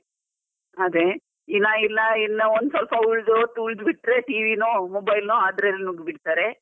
ಅದೆ ಇಲ್ಲ ಇಲ್ಲ ಒಂದು ಸ್ವಲ್ಪ ಉಲ್ದು ಹೊತ್ತು ಉಲ್ದು ಬಿಟ್ಟ್ರೆ TV no mobile ಲೋ ಅದ್ರಲ್ಲಿ ಮುಳ್ಗಿ ಬಿಡ್ತಾರೆ.